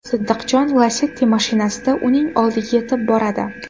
Siddiqjon Lacetti mashinasida uning oldiga yetib boradi.